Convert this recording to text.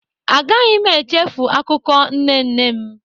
A gaghị m echefu akụkọ nne nne m.